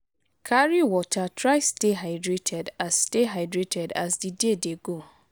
carry water try stay hydrated as stay hydrated as di day dey go